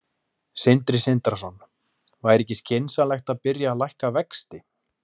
Sindri Sindrason: Væri ekki skynsamlegt að byrja að lækka vexti?